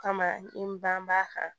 O kama n banbaa kan